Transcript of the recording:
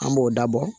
An b'o dabɔ